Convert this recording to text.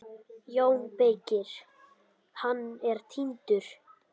JÓN BEYKIR: Hann er týndur!